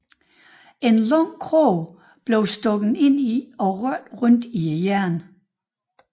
En lang krog blev stukket ind og rørte rundt i hjernen